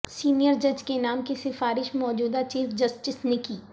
senior جج کے نام کی سفارش موجودہ چیف جسٹس نے کی